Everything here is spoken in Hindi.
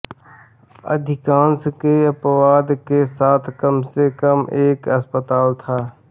अधिकांश के अपवाद के साथ कम से कम एक अस्पताल था